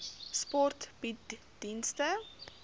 sport bied dienste